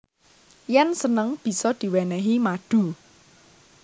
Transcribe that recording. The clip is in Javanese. Yen seneng bisa diwenehi madu